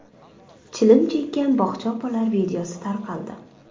Chilim chekkan bog‘cha opalar videosi tarqaldi.